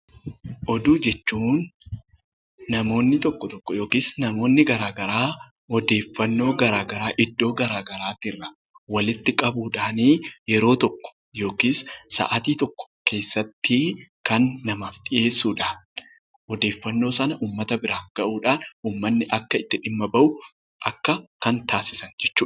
Oduu jechuun namoonni tokko tokko yookiis namoonni garaa garaa odeeffannoo garaa garaa iddoo gsraa garaati irraa walitti qabuu dhaani yeroo tokko yookiis sa'atii tokko keessatti kan namaaf dhiyeessu dha. Odeeffannoo sana uummata biraan gahuudhaan uummanni akka itti dhimma bahu kan taasisan jechuu dha.